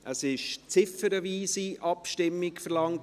Es wurde eine ziffernweise Abstimmung verlangt.